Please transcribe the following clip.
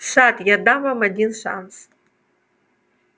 сатт я дам вам один шанс